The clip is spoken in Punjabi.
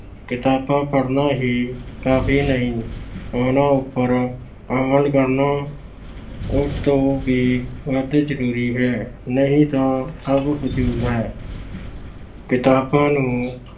ਕਿਤਾਬਾਂ ਪੜ੍ਹਨਾ ਹੀ ਕਾਫੀ ਨਹੀਂ, ਉਸ ਤੇ ਅਮਲ ਕਰਨਾ ਉਸ ਤੋਂ ਵੀ ਅਤਿ ਜਰੂਰੀ ਹੈ, ਨਹੀਂ ਤਾਂ ਸਭ ਫਿਜੂਲ ਹੈ। ਕਿਤਾਬਾਂ ਨੂੰ